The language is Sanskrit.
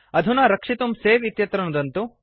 अधुना रक्षितुं सवे इत्यत्र नुदन्तु